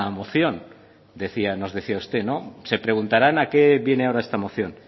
moción decían nos decía usted no se preguntaran a qué viene ahora esta moción